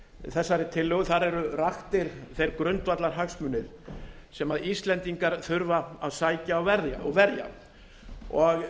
þessari tillögu eru raktir þeir grundvallarhagsmunir sem íslendingar þurfa að sækja og verja og